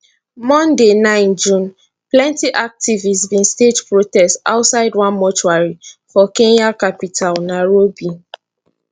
monday 9 june plenty activists bin stage protest outside one mortuary for kenya capital nairobi